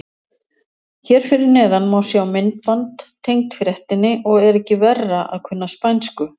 Hér fyrir neðan má sjá myndband tengt fréttinni og er ekki verra að kunna spænsku.